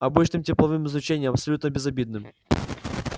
обычным тепловым излучением абсолютно безобидным